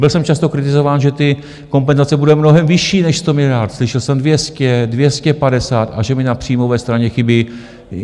Byl jsem často kritizován, že ty kompenzace budou mnohem vyšší než 100 miliard, slyšel jsem 200, 250, a že mi na příjmové straně chybí.